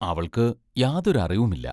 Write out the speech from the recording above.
അവൾക്ക് യാതൊരു അറിവുമില്ല.